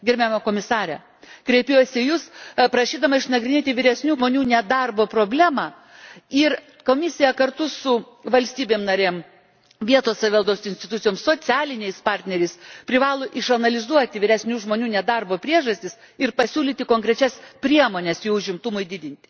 Gerbiama Komisare, kreipiuosi į Jus prašydama išnagrinėti vyresnių kaip 50 metų žmonių nedarbo problemą, ir Komisija kartu su valstybėmis narėmis, vietos savivaldos institucijomis, socialiniais partneriais privalo išanalizuoti vyresnių žmonių nedarbo priežastis ir pasiūlyti konkrečias priemones jų užimtumui didinti.